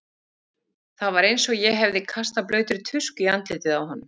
Það var eins og ég hefði kastað blautri tusku í andlitið á honum.